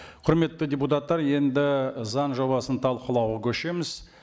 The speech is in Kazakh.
құрметті депутаттар енді заң жобасын талқылауға көшеміз